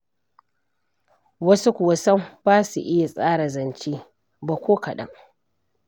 Wasu kuwa sam ba su iya tsara zance ba ko kaɗan.